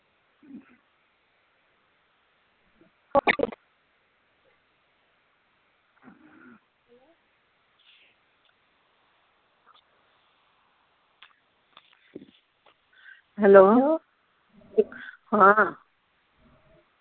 Hello ਹਾਂ